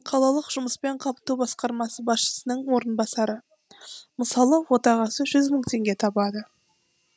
қалалық жұмыспен қамту басқармасы басшысының орынбасары мысалы отағасы жүз мың теңге табады